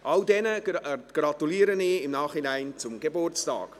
Ihnen allen gratuliere ich im Nachhinein zum Geburtstag.